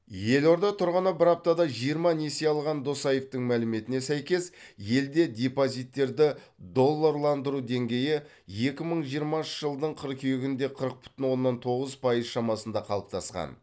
елорда тұрғыны бір аптада жиырма несие алған досаевтың мәліметіне сәйкес елде депозиттерді долларландыру деңгейі екі мың жиырмасыншы жылдың қыркүйегінде қырық бүтін оннан тоғыз пайыз шамасында қалыптасқан